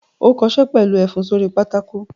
Ó kọṣẹ́ pẹ̀lú ẹfun sórí pátákó!